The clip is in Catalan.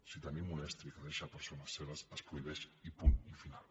si tenim un estri que deixa persones cegues es prohibeix i punt final